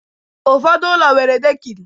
Ụfọdụ ụlọ nwere dekini